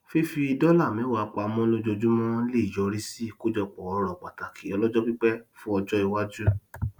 fífi dọlà mẹwàá pamọ lójoojúmọ leè yọrí sí ikojọpọ ọrọ pataki ọlọjọpípẹ fún ọjọ iwájú